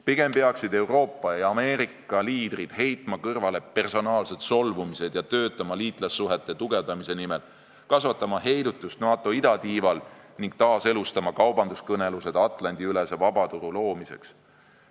Pigem peaksid Euroopa ja Ameerika liidrid heitma kõrvale personaalsed solvumised ja töötama liitlassuhete tugevdamise nimel, kasvatama heidutust NATO idatiival ning taaselustama kaubanduskõnelused Atlandi-ülese vabaturu loomiseks.